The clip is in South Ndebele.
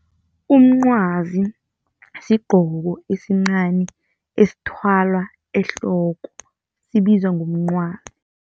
Umncwazi sigqoko esincani esithwalwa ehloko, sibizwa ngomncwazi.